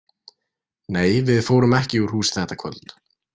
Nei, við fórum ekki úr húsi þetta kvöld.